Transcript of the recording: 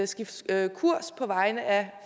skifte kurs på vegne af